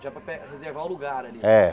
Já para pe reservar o lugar ali. É